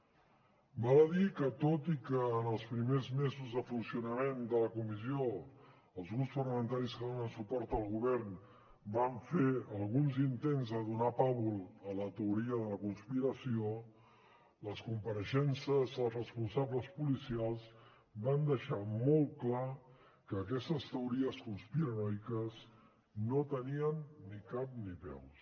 val a dir que tot i que en els primers mesos de funcionament de la comissió els grups parlamentaris que donen suport al govern van fer alguns intents de donar pàbul a la teoria de la conspiració les compareixences dels responsables policials van deixar molt clar que aquestes teories conspiranoiques no tenien ni cap ni peus